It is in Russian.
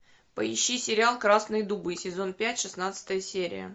поищи сериал красные дубы сезон пять шестнадцатая серия